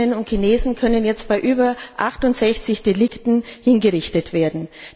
Chinesinnen und Chinesen können jetzt wegen über 68 Straftaten hingerichtet werden.